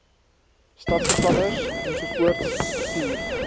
stadsbeplanners ensovoorts stuur